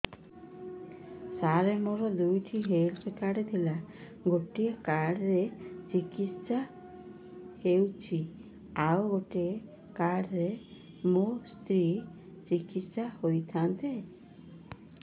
ସାର ମୋର ଦୁଇଟି health card ଥିଲା ଗୋଟେ କାର୍ଡ ରେ ମୁଁ ଚିକିତ୍ସା ହେଉଛି ଆଉ ଗୋଟେ କାର୍ଡ ରେ ମୋ ସ୍ତ୍ରୀ ଚିକିତ୍ସା ହୋଇଥାନ୍ତେ